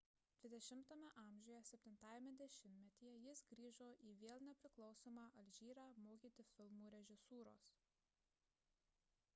xx a 7-ajame dešimtmetyje jis grįžo į vėl nepriklausomą alžyrą mokyti filmų režisūros